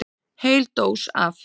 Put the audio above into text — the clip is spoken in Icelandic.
Heil dós af